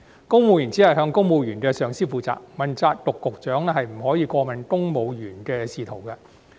公務員只向公務員上司負責，問責局長不可過問公務員的仕途。